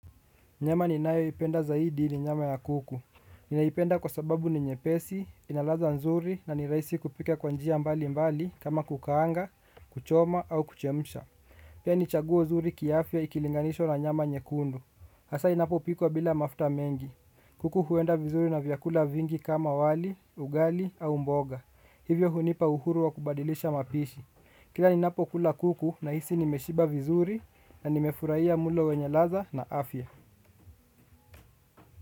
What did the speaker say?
Nyama ninayo ipenda zaidi ni nyama ya kuku. Ninaipenda kwa sababu ni nyepesi, ina ladha nzuri na ni rahisi kupika kwa njia mbali mbali kama kukaanga, kuchoma au kuchemsha. Pia ni chaguo zuri kiafya ikilinganishwa na nyama nyekundu. Hasa inapopikwa bila mafta mengi. Kuku huenda vizuri na vyakula vingi kama wali, ugali au mboga. Hivyo hunipa uhuru wa kubadilisha mapishi. Kila ninapokula kuku nahisi nimeshiba vizuri na nimefurahia mlo wenye ladha na afya.